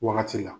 Wagati la